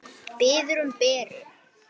Biður um Beru.